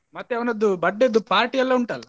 ಮತ್ತೆ ಅವನದ್ದು birthday ದು party ಎಲ್ಲ ಉಂಟಲ್ಲ?